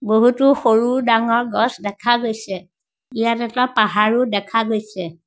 বহুতো সৰু-ডাঙৰ গছ দেখা গৈছে ইয়াত এটা পাহাৰ ও দেখা গৈছে।